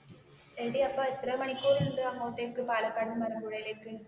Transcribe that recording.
എടി അപ്പോൾ എത്ര മണിക്കൂർ ഉണ്ട് അങ്ങോട്ടേക്ക് പാലക്കാടിനു മലമ്പുഴയിലേക്കു